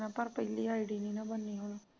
ਮੈਹ ਪਰ ਪਹਿਲੀ id ਨਹੀਂ ਨਾ ਬਨਣੀ ਹੁਣ